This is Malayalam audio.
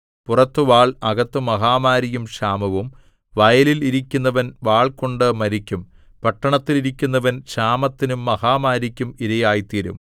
പുറത്തു വാൾ അകത്ത് മഹാമാരിയും ക്ഷാമവും വയലിൽ ഇരിക്കുന്നവൻ വാൾകൊണ്ടു മരിക്കും പട്ടണത്തിൽ ഇരിക്കുന്നവൻ ക്ഷാമത്തിനും മഹാമാരിക്കും ഇരയായിത്തീരും